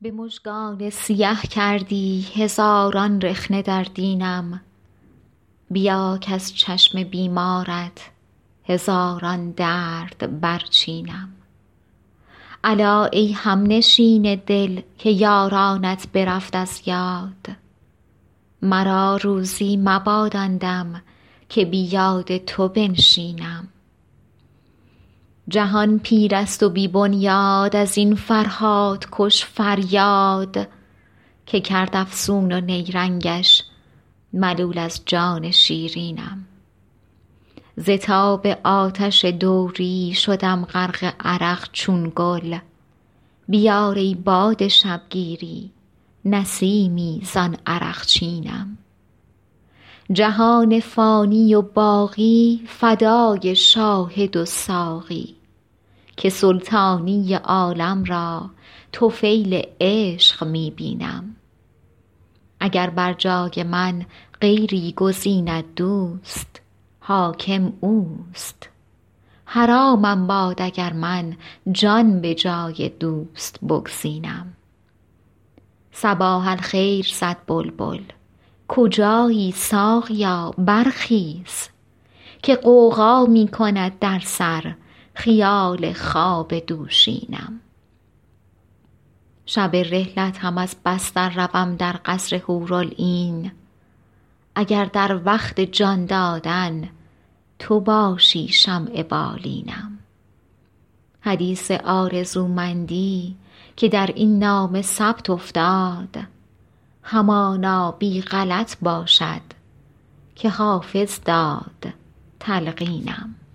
به مژگان سیه کردی هزاران رخنه در دینم بیا کز چشم بیمارت هزاران درد برچینم الا ای همنشین دل که یارانت برفت از یاد مرا روزی مباد آن دم که بی یاد تو بنشینم جهان پیر است و بی بنیاد از این فرهادکش فریاد که کرد افسون و نیرنگش ملول از جان شیرینم ز تاب آتش دوری شدم غرق عرق چون گل بیار ای باد شبگیری نسیمی زان عرقچینم جهان فانی و باقی فدای شاهد و ساقی که سلطانی عالم را طفیل عشق می بینم اگر بر جای من غیری گزیند دوست حاکم اوست حرامم باد اگر من جان به جای دوست بگزینم صباح الخیر زد بلبل کجایی ساقیا برخیز که غوغا می کند در سر خیال خواب دوشینم شب رحلت هم از بستر روم در قصر حورالعین اگر در وقت جان دادن تو باشی شمع بالینم حدیث آرزومندی که در این نامه ثبت افتاد همانا بی غلط باشد که حافظ داد تلقینم